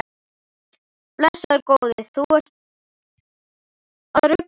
Blessaður góði, þú ert að rugla!